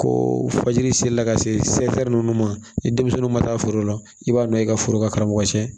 Ko fajiri selila ka se nunnu ma ni denmisɛnninw ma taa foro la i b'a nɔ ye i ka foro ka karamɔgɔ cɛ